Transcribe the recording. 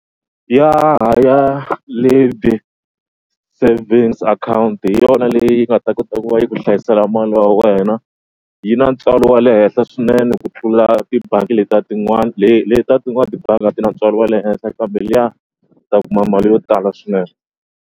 Ya ha ya savings akhawunti hi yona leyi nga ta kota ku va yi ku hlayisela mali ya wena. Yi na ntswalo wa le henhla swinene ku tlula tibangi letiya tin'wana letiya tin'wana tibangi a ti na ntswalo wa le henhla kambe liya u ta kuma mali yo tala swinene.